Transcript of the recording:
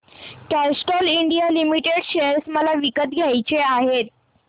Castrol India limited share मला विकत घ्यायचे आहेत